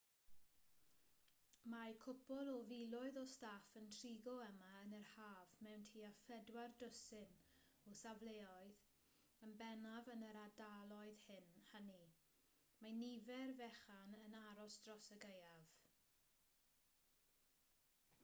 mae cwpwl o filoedd o staff yn trigo yma yn yr haf mewn tua phedwar dwsin o safleoedd yn bennaf yn yr ardaloedd hynny mae nifer fechan yn aros dros y gaeaf